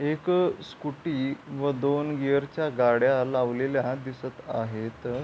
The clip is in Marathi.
एक स्कूटी व दोन गियर च्या गाड्या लावलेल्या दिसत आहेत.